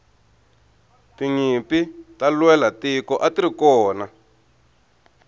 tinyimpi ta lwela tiko atirikona